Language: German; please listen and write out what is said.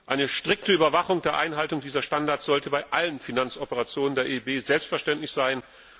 Eine strikte Überwachung der Einhaltung dieser Standards sollte bei allen Finanzoperationen der EIB selbstverständlich sein.